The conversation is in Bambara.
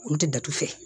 Olu tɛ datugu